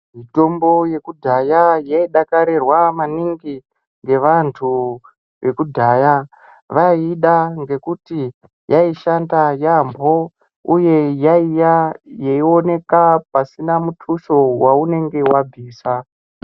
Mitombo yekudhaya yaidakarirwa maningi nevantu vekudhaya vaiida ngekuti yaishanda yambo uye yaioneka pasina mikusho yaunenge wabvisa.